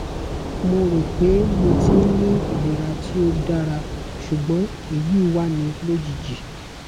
mo ro pé mo ti n ni ilera ti o o dara sugbon eyi wa ni lojiji